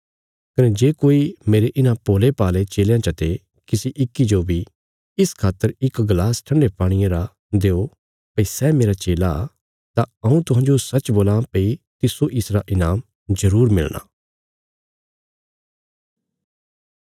कने जे कोई मेरे इन्हां भोल़ेभाल़े चेलयां चा ते किसी इक्की जो बी इस खातर इक गलास ठन्डे पाणिये रा देयो भई सै मेरा चेला तां हऊँ तुहांजो सच्च बोलां भई तिस्सो इसरा ईनाम जरूर मिलणा